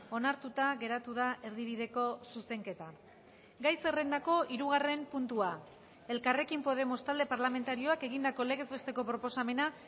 onartuta geratu da erdibideko zuzenketa gai zerrendako hirugarren puntua elkarrekin podemos talde parlamentarioak egindako legez besteko proposamena